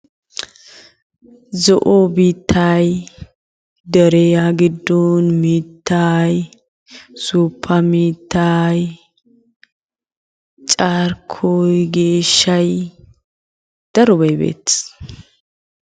Zo'o biittay deriyaa giddon mittay suuppa mittay carkkoy geeshshay darobay beettes.